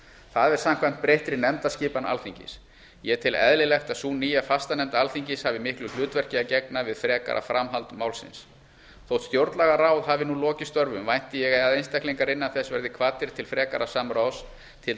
það er samkvæmt breyttri nefndaskipan alþingis ég tel eðlilegt að sú nýja fastanefnd alþingis hafi miklu hlutverki að gegna við frekara framhald málsins þótt stjórnlagaráð hafi nú lokið störfum vænti ég að einstaklingar innan þess verði kvaddir til frekara samráðs til